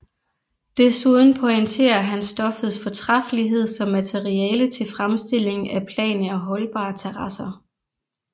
Desuden pointerer han stoffets fortræffelighed som materiale til fremstilling af plane og holdbare terrasser